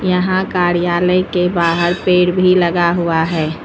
यहां कार्यालय के बाहर पेड़ भी लगा हुआ है।